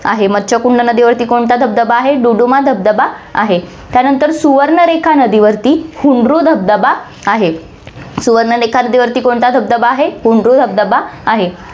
आहे. मच्छकुंड नदीवरती कोणता धबधबा आहे, दुडुमा धबधबा आहे, त्यानंतर सुवर्णारेखा नदीवरती हुंडरू धबधबा आहे. सुवर्णारेखा नदीवरती कोणता धबधबा आहे, हुंडरू धबधबा आहे.